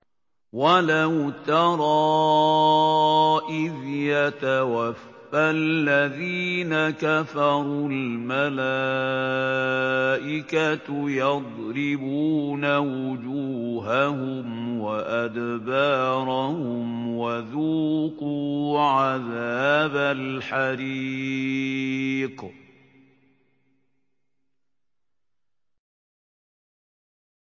وَلَوْ تَرَىٰ إِذْ يَتَوَفَّى الَّذِينَ كَفَرُوا ۙ الْمَلَائِكَةُ يَضْرِبُونَ وُجُوهَهُمْ وَأَدْبَارَهُمْ وَذُوقُوا عَذَابَ الْحَرِيقِ